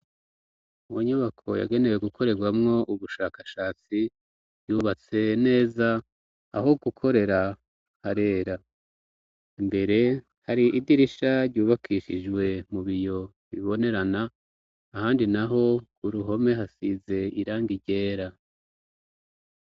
Mu nyubako yagenewe gukorerwamwo ubushakashatsi yubatse neza aho gukorera harera mbere hari idirisha ryubakishijwe mu biyo bibonerana ahandi naho kuruhome hasize iranga ryera.